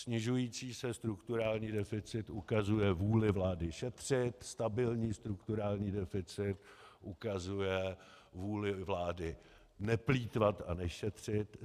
Snižující se strukturální deficit ukazuje vůli vlády šetřit, stabilní strukturální deficit ukazuje vůli vlády neplýtvat a nešetřit.